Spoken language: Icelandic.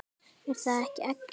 Er það ekki Eggert?